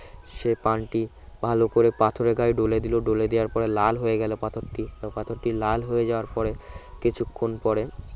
সে পানটি ভালোকরে পাথরের গায়ে ডলে দিল ডলে দেওয়ার পরে কি লাল হয়ে গেল পাথরটি পাথরটি লাল হয়ে যাওয়ার পরে কিছুক্ষণ পরে